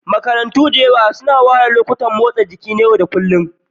Makarantu da yawa suna ware lokacin motsa jiki na yau da kullun.